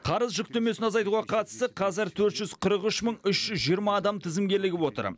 қарыз жүктемесін азайтуға қатысты қазір төрт жүз қырық үш мың үш жүз жиырма адам тізімге ілігіп отыр